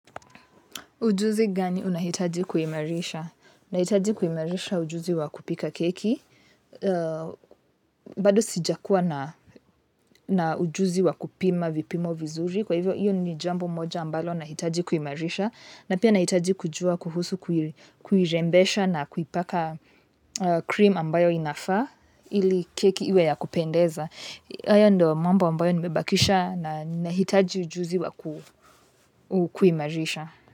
Ujuzi gani unahitaji kuimarisha? Nahitaji kuimarisha ujuzi wa kupika keki. Bado sijakua na ujuzi wa kupima vipimo vizuri kwa hivyo, hiyo ni jambo moja ambalo nahitaji kuimarisha. Na pia nahitaji kujua kuhusu kuirembesha na kuipaka krim ambayo inafaa ili keki iwe ya kupendeza. Haya ndo mambo ambayo nimebakisha na nahitaji ujuzi wakuimarisha.